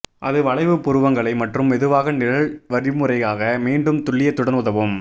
அது வளைவு புருவங்களை மற்றும் மெதுவாக நிழல் வழிமுறையாக மீண்டும் துல்லியத்துடன் உதவும்